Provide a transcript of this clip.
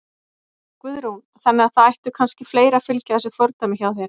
Guðrún: Þannig að það ættu kannski fleiri að fylgja þessu fordæmi hjá þér?